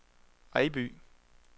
Ejby